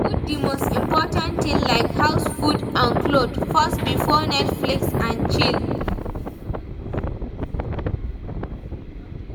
Put di most important things like house, food and cloth first before netflix and chill